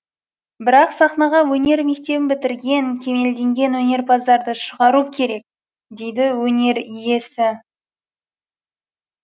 бірақ сахнаға өнер мектебін бітірген кемелденген өнерпаздарды шығару керек дейді өнер иесі